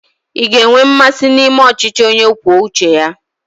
Ị ga-enwe mmasị na ịme ọchịchị onye kwuo uche ya?